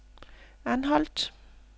Anholt